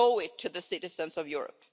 We owe it to the citizens of Europe.